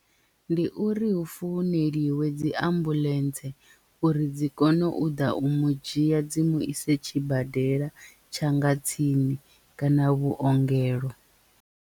Ndi uri hu founeliwe dzi ambuḽentse uri dzi kone u ḓa u mu dzhia dzi mu ise tshibadela tshanga tsini kana vhuongelo.